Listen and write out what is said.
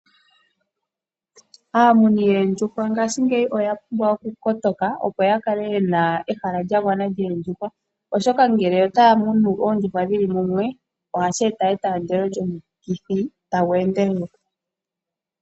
Aamuni yoondjuhwa ngaashingeyi oya pumbwa okukala yakotoka , opo yakale yena ehala lyagwana lyoondjuhwa , oshoka ngele otaya munu oondjuhwa dhili mumwe ohashi eta etandelo lyomikithi tali endelele.